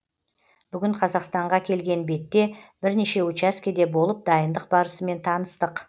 бүгін қазақстанға келген бетте бірнеше учаскеде болып дайындық барысымен таныстық